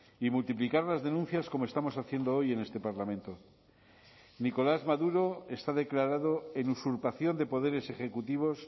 y multiplicar las denuncias como estamos haciendo hoy en este parlamento nicolás maduro está declarado en usurpación de poderes ejecutivos